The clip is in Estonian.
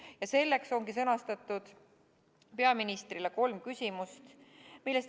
Ja selleks ongi sõnastatud peaministrile kolm küsimust.